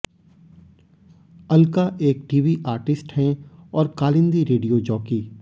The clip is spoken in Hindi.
अल्का एक टीवी आर्टिस्ट हैं और कालिंदी रेडियो जॉकी